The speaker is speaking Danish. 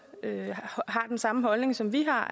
har den samme holdning som vi har